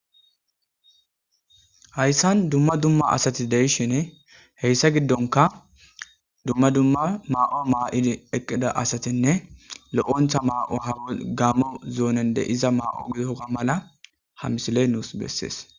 hayssan dumma dumma asati deishhine heyssa giddonka dumma dumma maa7o maa7idi eqqida asatinne lo7ontha ma7o hawo gaammo zoonen de iza ma7o goga mala ha misiley nuus bessees